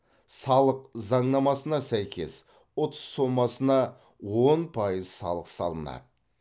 салық заңнамасына сәйкес ұтыс сомасына он пайыз салық салынады